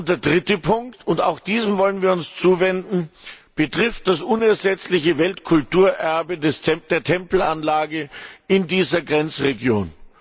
Der dritte Punkt und auch diesem wollen wir uns zuwenden betrifft das unersetzliche Weltkulturerbe der Tempelanlage in dieser Grenzregion.